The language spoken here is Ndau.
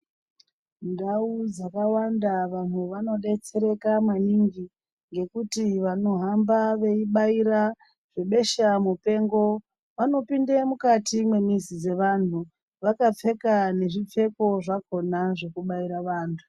Ndau dzakawanda vantu anodetsereka maningi ngekuti vanohamba veibaira besha mupengo vanopinde mukati mwemizi dzevantu vakapfeka nezvipfeko zvakhona zvekubaira vantu.